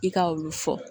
I ka olu fɔ